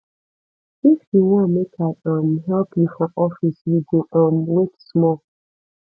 if you wan make i um help you for office you go um wait small